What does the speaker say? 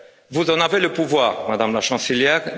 Vous en avez le pouvoir, Madame la Chancelière.